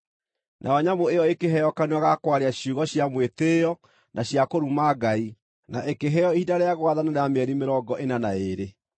Nayo nyamũ ĩyo ĩkĩheo kanua ga kwaria ciugo cia mwĩtĩĩo na cia kũruma Ngai, na ĩkĩheo ihinda rĩa gwathana rĩa mĩeri mĩrongo ĩna na ĩĩrĩ.